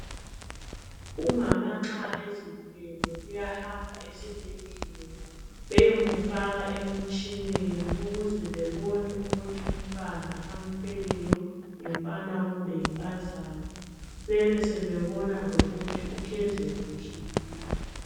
Umama nxa ezithwele uyahamba esibhedlela bayemfaka emtshineni ukuze bebone ukuthi umntwana amthweleyo ngumfana kumbe yinkazana bese bebona lokuthi uhlezi kuhle yini.